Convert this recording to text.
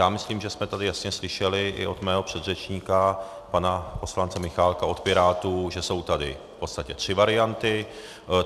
Já myslím, že jsme tady jasně slyšeli i od mého předřečníka, pana poslance Michálka od Pirátů, že jsou tady v podstatě tři varianty.